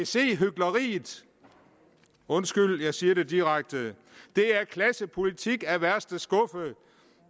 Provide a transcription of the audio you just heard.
se hykleriet undskyld jeg siger det direkte det er klassepolitik af værste skuffe